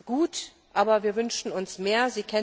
Das ist gut, aber wir wünschen uns mehr.